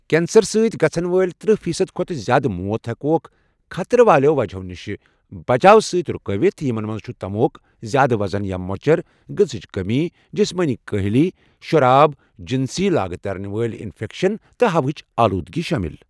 Cancer سۭتۍ گَژھن وٲلۍ ترٕٛہہ فیصد کھۄتہٕ زیادٕ موت ہٮ۪کوکھ خطرٕ والٮ۪و وجہو نش بچاوٕ سۭتۍ رُکٲوِتھ، یِمن منٛز چھُ تموک، زیادٕ وزن یا مۄچر، غذاہچ کٔمی، جِسمٲنی کٲہِلی، شراب، جِنسی لاگہِ ترن وٲلۍ اِنفٮ۪کشن تہٕ ہوہٕچ ٲلوٗدگی شٲمِل۔